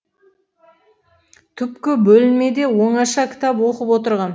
түпкі бөлмеде оңаша кітап оқып отырғам